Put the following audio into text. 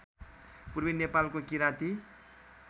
पूर्वी नेपालको किराँती